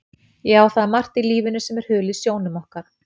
Já, það er margt í lífinu sem er hulið sjónum okkar.